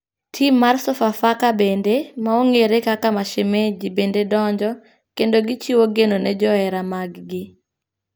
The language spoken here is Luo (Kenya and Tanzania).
Tim mar Sofafaka bende ,ma ong'ere kaka Mashemaji bende donjo ,kendo gichiwo geno ne johera mag gi.